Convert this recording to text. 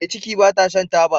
Me ciki bata Shan taba